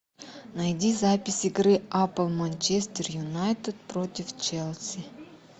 найди запись игры апл манчестер юнайтед против челси